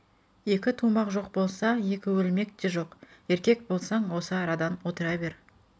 екі тумақ жоқ болса екі өлмек те жоқ еркек болсаң осы арадан отыра бер